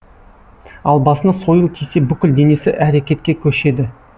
ал басына сойыл тисе бүкіл денесі әрекетке көшеді